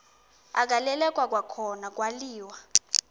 agaleleka kwakhona kwaliwa